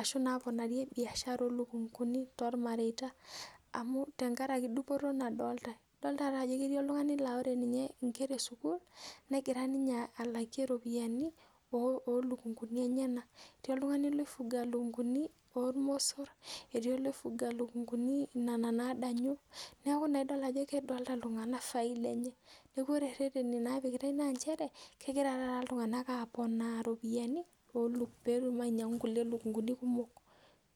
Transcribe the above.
ashuun naaponarie biashara oo lukunguni tolmareta amu tenkaraki dupoto nadolitai idool taata ajo ketii oltungani laa ore ninye inkera e sukul negira ninye alakie ropiyiani oo lukunguni enyenak etii oltungani loifuga ilukunkuni ormosor etii oloifuga lukunguni nanaa nadanyu neeku naa idolita ajo kedolita iltungana faida enye neeku ore reteni naapikitai naa ncheree kegira taata iltungana apoona ropiyani meetum ainyangu kulie lukunguni kumook...